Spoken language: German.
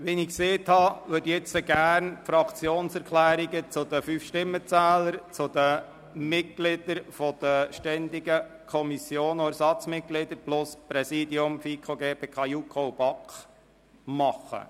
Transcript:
Wie ich gesagt habe, würde ich gerne die Fraktionserklärungen zu den fünf Stimmenzählern, den Mitgliedern der ständigen Kommissionen und den Ersatzmitgliedern sowie zu den Präsidien FiKo, GPK, JuKo und BaK drannehmen.